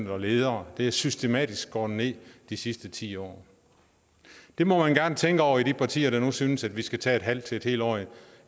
og ledere det er systematisk skåret ned de sidste ti år det må man gerne tænke over i de partier der nu synes at vi skal tage et halvt til et helt år